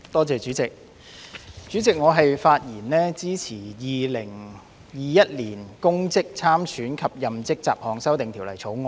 主席，我發言支持《2021年公職條例草案》。